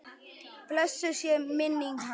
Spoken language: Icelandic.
Blessuð sé minning hans!